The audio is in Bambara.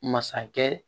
Masakɛ